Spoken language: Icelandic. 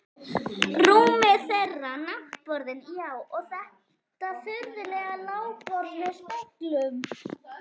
Rúmið þeirra, náttborðin, já, og þetta furðulega lágborð með speglunum.